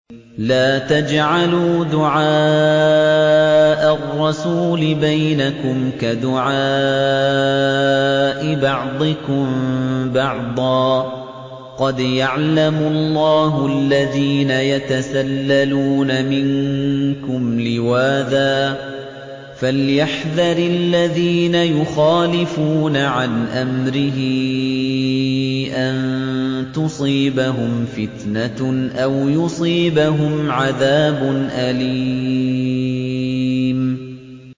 لَّا تَجْعَلُوا دُعَاءَ الرَّسُولِ بَيْنَكُمْ كَدُعَاءِ بَعْضِكُم بَعْضًا ۚ قَدْ يَعْلَمُ اللَّهُ الَّذِينَ يَتَسَلَّلُونَ مِنكُمْ لِوَاذًا ۚ فَلْيَحْذَرِ الَّذِينَ يُخَالِفُونَ عَنْ أَمْرِهِ أَن تُصِيبَهُمْ فِتْنَةٌ أَوْ يُصِيبَهُمْ عَذَابٌ أَلِيمٌ